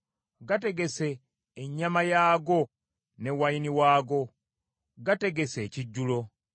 Gategese ennyama yaago ne wayini waago; gategese ekijjulo.